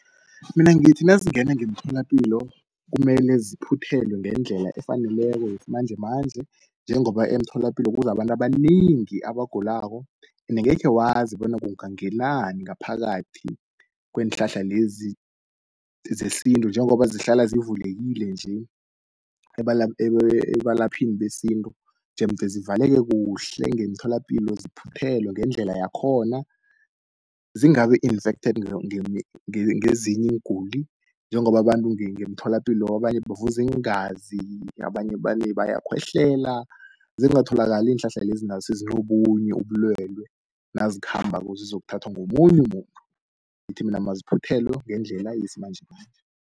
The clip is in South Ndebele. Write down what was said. Mina ngithi nazingenza ngemtholapilo kumele ziphuthelwe ngendlela efaneleko yesimanjemanje, njengoba emtholapilo kuza abantu abanengi abagulako ende angekhe wazi bona kungangelani ngaphakathi kweenhlahla lezi zesintu, njengoba zihlala zivulekile nje ebalaphini besintu. Jemde zivaleke kuhle ngemtholapilo ziphuthelwe ngendlela yakhona. Zingabi infected ngezinye iinguli, njengoba abantu ngemtholapilo abanye bavuza iingazi, abanye bayakhwehlela zingatholakali iinhlahla lezi nazo sezinobunye ubulwelwe nazikhambako zizokuthathwa ngomunye umuntu. Ngithi mina aziphuthelwe ngendlela yesimanjemanje.